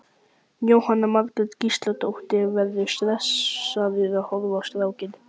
Jóhanna Margrét Gísladóttir: Verðurðu stressaður að horfa á strákinn?